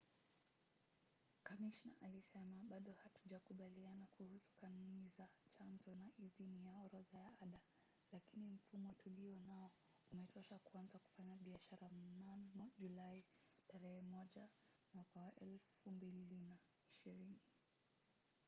kamishna alisema bado hatujakubaliana kuhusu kanuni za chanzo na idhini ya orodha ya ada lakini mfumo tulionao umetosha kuanza kufanya biashara mnamo julai 1 2020